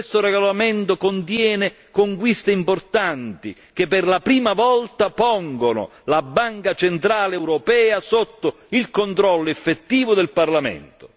Questo regolamento contiene conquiste importanti che per la prima volta pongono la Banca centrale europea sotto il controllo effettivo del Parlamento.